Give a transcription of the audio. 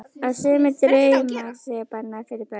Að sumir draumar séu bannaðir fyrir börn.